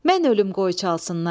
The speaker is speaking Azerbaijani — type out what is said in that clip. Mən ölüm qoy çalsınlar.